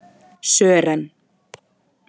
Sören